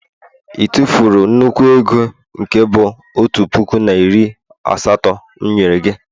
ị tụfuru nnukwu ego nke bu otu puku na iri asatọ m nyere gị?